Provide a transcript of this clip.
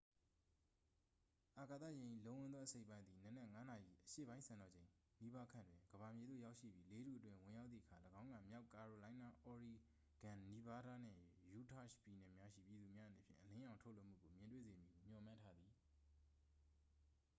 အာကာသယာဉ်၏ လုံးဝန်းသော အစိတ်အပိုင်းသည် နံနက် ၅ နာရီ အရှေ့ပိုင်းစံတော်ချိန် နီးပါးခန့်တွင် ကမ္ဘာမြေသို့ ရောက်ရှိပြီး လေထုအတွင်း ဝင်ရောက်သည့်အခါ ၎င်းက မြောက်ကာရိုလိုင်းနား၊ အော်ရီဂွန်၊ နီဗားဒါးနှင့် ယူတာ့ရှ်ပြည်နယ်များရှိ ပြည်သူများအနေဖြင့် အလင်းရောင်ထုတ်လွှတ်မှုကို မြင်တွေ့စေမည်ဟု မျှော်မှန်းထားသည်။